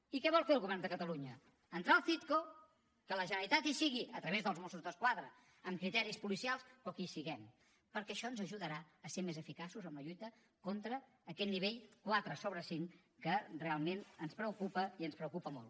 i què vol fer el govern de catalunya entrar al citco que la generalitat hi sigui a través dels mossos d’esquadra amb criteris policials però que hi siguem perquè això ens ajudarà a ser més eficaços en la lluita contra aquest nivell quatre sobre cinc que realment ens preocupa i ens preocupa molt